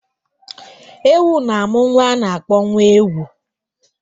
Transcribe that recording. Ewu na-amụ nwa a na-akpọ nwa ewu